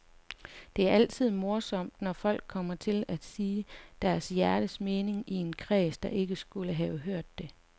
Det er altid morsomt, når folk kommer til at sige deres hjertens mening i en kreds, der ikke skulle have hørt det.